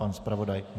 Pan zpravodaj?